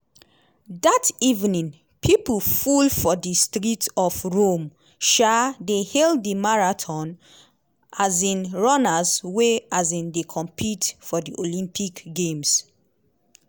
dat evening pipo full for di streets of rome um dey hail di marathon um runners wey um dey compete for di olympic games.